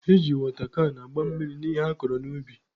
E ji wọta kan agba mmiri n'ihe akọrọ n'ubi.